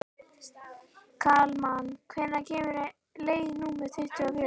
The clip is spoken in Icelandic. Kalman, hvenær kemur leið númer tuttugu og fjögur?